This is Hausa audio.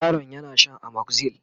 yaron yana Shan amoxyl